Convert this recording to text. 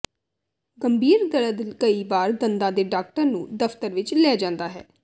ਗੰਭੀਰ ਦਰਦ ਕਈ ਵਾਰ ਦੰਦਾਂ ਦੇ ਡਾਕਟਰ ਨੂੰ ਦਫਤਰ ਵਿਚ ਲੈ ਜਾਂਦਾ ਹੈ